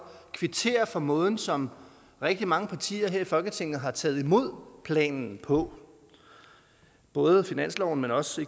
kvittere for måden som rigtig mange partier her i folketinget har taget imod planen på både finansloven men også